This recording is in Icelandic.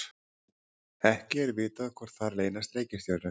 ekki er vitað hvort þar leynast reikistjörnur